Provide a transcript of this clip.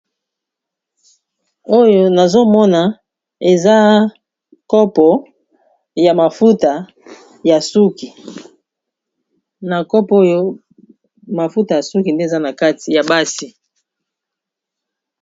oyo nazomona eza nkopo ya mafuta ya suki na kopo oyo mafuta ya suki nde eza na kati ya basi